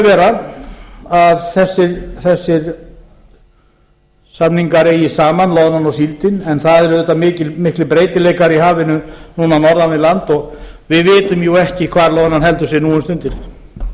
ekki að vera að þessir samningar eigi saman loðnan og síldin en það eru auðvitað miklir breytileikar í hafinu núna norðan við land og við vitum jú ekki hvar loðnan heldur sig nú um stundir þó